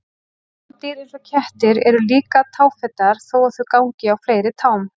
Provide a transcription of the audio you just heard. Rándýr eins og kettir eru líka táfetar þó að þau gangi á fleiri tám.